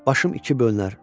Başım iki bölünər.